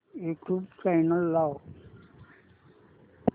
YouTube channel लाव